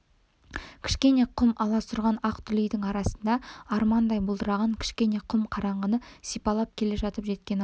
кішкене құм аласұрған ақ дүлейдің арасында армандай бұлдыраған кішкене құм қараңғыны сипалап келе жатып жеткен екен-ау